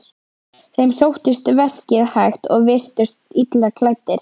Þeim sóttist verkið hægt og virtust illa klæddir.